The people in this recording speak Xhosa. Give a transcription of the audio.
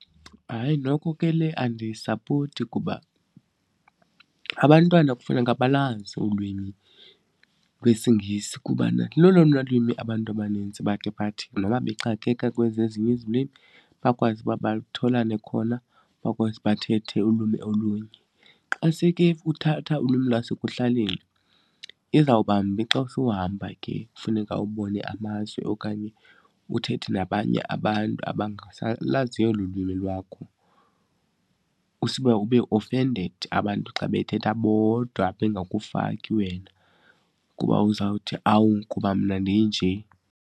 Hayi, noko ke le andiyisapoti kuba abantwana kufuneka balazi ulwimi lwesiNgesi kubana lolona lwimi abantu abanintsi bake bathi noba bexakeka kwezi ezinye izilwimi bakwazi uba batholane khona, bakwazi bathethe ulwimi olunye. Xa seke uthatha olwimi lwasekuhlaleni, izawubambi xa suhamba ke funeka ubone amazwe okanye uthethe nabanye abantu abangalaziyo olu lwimi lwakho usuba ube offended abantu xa bethetha bodwa bengakufaki wena kuba uzawuthi, awu kuba mna ndinje.